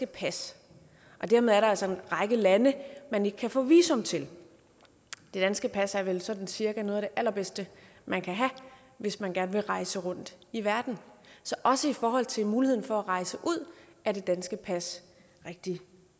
pas og dermed er der altså en række lande man ikke kan få visum til det danske pas er vel sådan cirka noget af det allerbedste man kan have hvis man gerne vil rejse rundt i verden så også i forhold til muligheden for at rejse ud er det danske pas rigtig